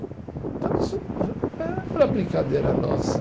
Então isso eh era brincadeira nossa.